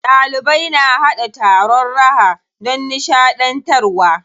Ɗalibai na haɗa taron raha don nishaɗantarwa.